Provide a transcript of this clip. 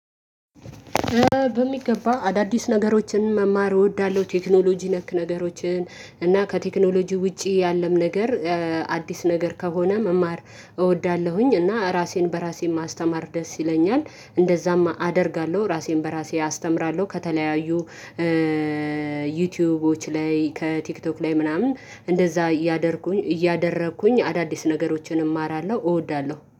በሚገባ አዳዲስ ነገሮችን መማር እወዳለሁ። ቴክኖሎጂ ነክ ነገሮችን እና ከቴክኖሎጂ ውጪ ያለም ነገር አዲስ ነገር ከሆነ መማር እወዳለሁኝ እና ራሴን በራሴ ማስተማር ደስ ይለኛል። እንደዛም አደርጋለሁ ራሴን በራሴ አስተምራለሁ። ከተለያዩ ዩቲዩቦች ላይ ከቲክቶክ ላይ ምናምን እንደዛ እያደርኩኝ እያደረኩኝ አዳዲስ ነገሮችን እማራለሁ እወዳለሁ።